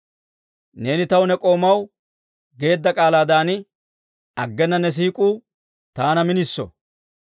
Neeni taw ne k'oomaw geedda k'aalaadan, aggena ne siik'uu taana miniso.